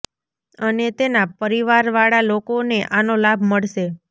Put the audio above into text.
અને તેના પરિવાર વાળા લોકો ને આનો લાભ મળશે